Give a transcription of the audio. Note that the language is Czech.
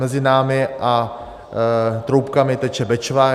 Mezi námi a Troubkami teče Bečva.